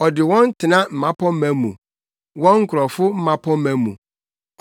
ɔde wɔn tena mmapɔmma mu, wɔn nkurɔfo mmapɔmma mu.